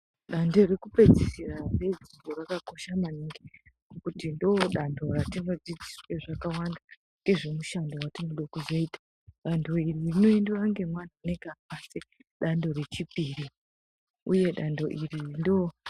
Danto rekupedzisira redzidzo rakakosha maningi ngekuti ndodanto ratinodzidziswe zvakawanda ngezvemushando wetinode kuzoita dando iri rinoendiwa ngemwana unenga apase dando rechipiri uye dando iri ndo.